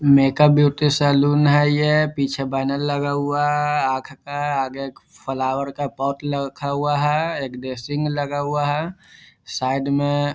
Makeup beauty salon है ये पीछे बैनर लगा हुआ है आँख के आगे फ्लावर का पोर्ट रखा हुआ है एक ड्रेसिंग लगा हुआ है साइड में।